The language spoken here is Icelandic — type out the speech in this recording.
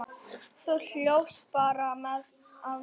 Þú hlóst bara að mér.